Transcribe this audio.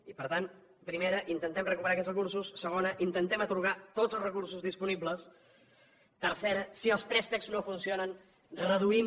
i per tant primera intentem recuperar aquests recursos segona intentem atorgar tots els recursos disponibles tercera si els préstecs no funcionen reduïm